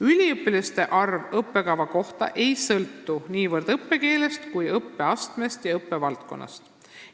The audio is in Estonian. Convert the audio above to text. Üliõpilaste arv õppekava kohta ei sõltu niivõrd õppekeelest kui õppeastmest ja õppevaldkonnast.